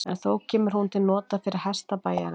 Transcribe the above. En þó kemur hún til nota fyrir hesta bæjarins.